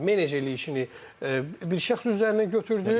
Menecerliyi işini bir şəxs üzərinə götürdü.